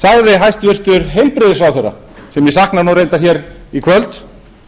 sagði hæstvirtur heilbrigðisráðherra sem ég sakna reyndar hér í kvöld